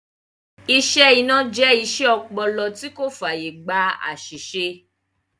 Iṣẹ́ iná jẹ iṣẹ́ ọpọlọ tí kò fàyè gba àsìsè